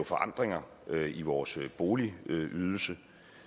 forandringer i vores boligydelse